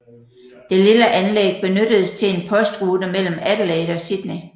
Det lille anlæg benyttedes til en postrute mellem Adelaide og Sydney